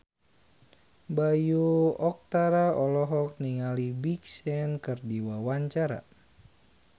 Bayu Octara olohok ningali Big Sean keur diwawancara